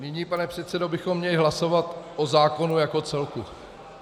Nyní, pane předsedo, bychom měli hlasovat o zákonu jako celku.